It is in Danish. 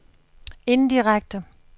indirekte